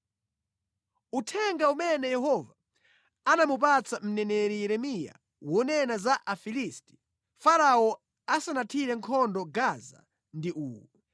Uthenga umene Yehova anamupatsa mneneri Yeremiya wonena za Afilisti, Farao asanathire nkhondo Gaza ndi uwu: